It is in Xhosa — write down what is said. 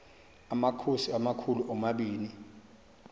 amakhosi amakhulu omabini